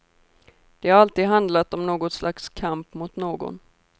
Det har alltid handlat om något slags kamp mot någon.